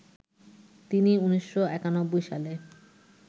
তিনি ১৯৯১ সালে